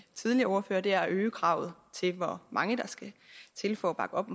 tidligere ordførere er at øge kravet til hvor mange der skal til for at bakke op